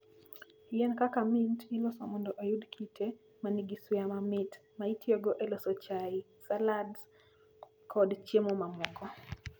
Yien kaka mint iloso mondo oyud kite ma nigi suya mamit, ma itiyogo e loso chai, salads, kod chiemo mamoko.